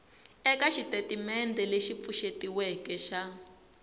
eka xitatimendhe lexi pfuxetiweke xa